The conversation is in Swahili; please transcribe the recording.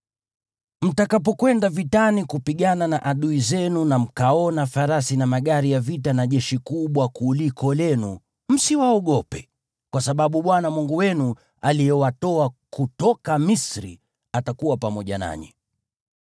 Mtakapokwenda vitani kupigana na adui zenu na mkaona farasi na magari ya vita na jeshi kubwa kuliko lenu, msiwaogope, kwa sababu Bwana Mungu wenu aliyewatoa kutoka Misri, atakuwa pamoja nanyi.